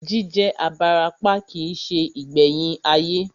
Jí jẹ́ abarapá kìí se ìgbẹ̀yìn ayé